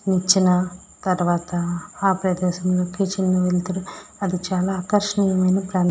వచ్చిన తర్వాత ఆ ప్రదేశము కిచెన్ వెలుతురూ అది చాలా ఆకర్షణీయంగా ఉంది కానీ --